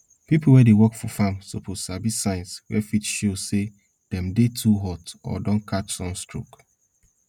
people wey dey work for farm suppose sabi signs wey fit show say dem dey too hot or don catch sun stroke